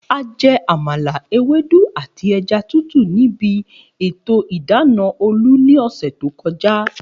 A je̩ àmàla, ewédú àti e̩ja tútù níbi ètò ìdána Olú ní ò̩sè̩ tó ko̩já